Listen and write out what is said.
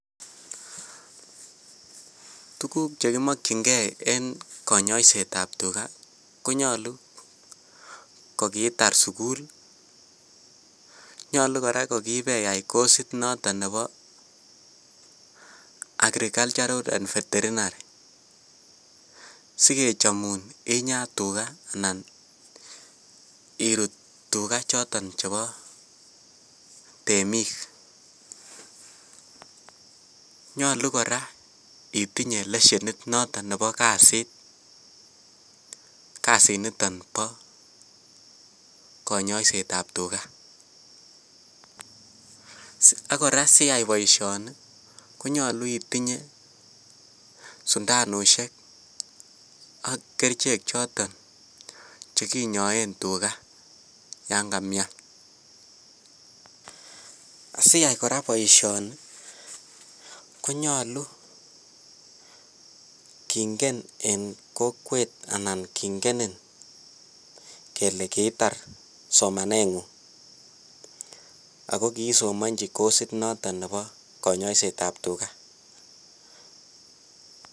Tukuk chekimokying'e en konyoisetab tukaa konyolu ko kiitar sukul, nyolu kora ko kiibeyai kosit noton nebo agricultural and veterinary sikechomun inyaa tukaa anan iruut tukaa choton chebo temiik, nyolu kora itinye leshenit noton nebo kasit kasiniton boo konyoisetab tukaa, ak kora siyai boishoni konyolu itinye sundanushek ak kerichek choton chekinyoen tukaa yoon kamian, asiyai kora boishoni konyolu kong'en en kokwet anan king'enin kelee kiitar somanengung ak ko kisomonji kosit noton nebo konyoisetab tukaa.